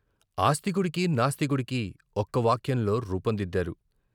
ఆస్తికుడికి నాస్తికుడికీ ఒక్క వాక్యంలో రూపం దిద్దారు.